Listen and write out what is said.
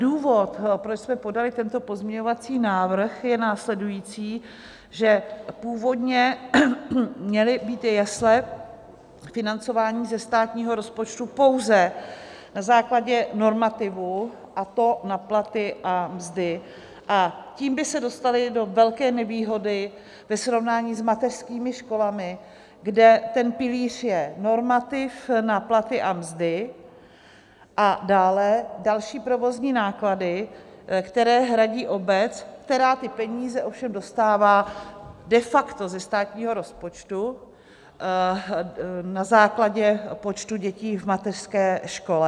Důvod, proč jsme podali tento pozměňovací návrh, je následující - že původně měly být jesle financovány ze státního rozpočtu pouze na základě normativu, a to na platy a mzdy, a tím by se dostaly do velké nevýhody ve srovnání s mateřskými školami, kde ten pilíř je normativ na platy a mzdy a dále další provozní náklady, které hradí obec, která ty peníze ovšem dostává de facto ze státního rozpočtu na základě počtu dětí v mateřské škole.